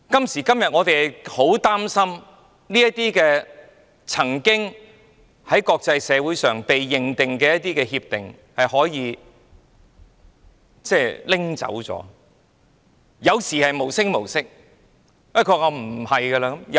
然而，我們擔心這些曾獲國際社會認定的協定，可能會無聲無息地不被重視。